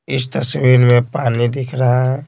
इस तस्वीर में पानी दिख रहा है।